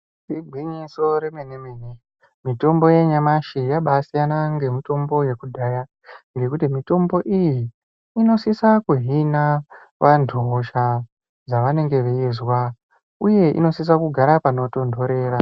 Igwinyiso remene-mene mitombo yanyamashi yabaasiyana nemitombo yekudhaya ngekuti mitombo iyi inosisa kuhina vantu hosha dzavanenge veizwa uye inosisa kugara panotontorera.